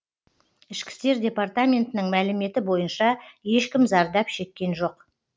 ішкі істер департаментінің мәліметі бойынша ешкім зардап шеккен жоқ